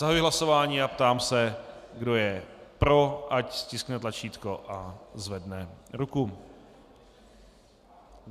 Zahajuji hlasování a ptám se, kdo je pro, ať stiskne tlačítko a zvedne ruku.